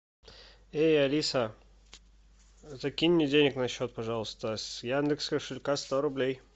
эй алиса закинь мне денег на счет пожалуйста с яндекс кошелька сто рублей